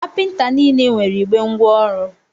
Kapịnta niile nwere igbe ngwa ọrụ.